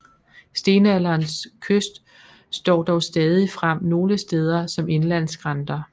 Stenalderens kyst står dog stadig frem nogle steder som indlandsskrænter